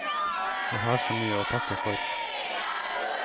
Jeg har så mye og takke for.